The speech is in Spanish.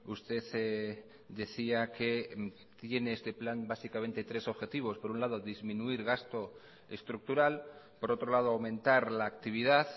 usted decía que tiene este plan básicamente tres objetivos por un lado disminuir gasto estructural por otro lado aumentar la actividad